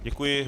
Děkuji.